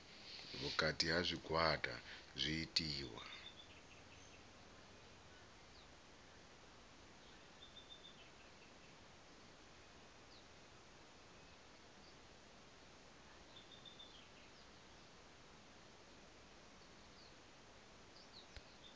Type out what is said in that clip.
vhukati ha zwigwada zwi itiwa